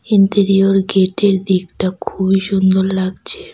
Interior গেটের দিকটা খুবই সুন্দর লাগছে।